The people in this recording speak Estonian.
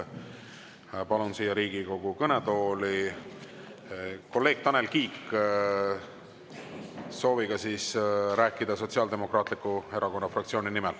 Palun siia Riigikogu kõnetooli kolleeg Tanel Kiige, kes soovib rääkida Sotsiaaldemokraatliku Erakonna fraktsiooni nimel.